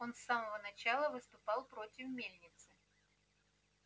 он с самого начала выступал против мельницы